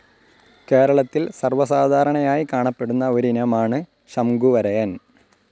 കേരളത്തിൽ സർവ്വസാധാരണമായി കാണപ്പെടുന്ന ഒരിനമാണ് ശംഖുവരയൻ.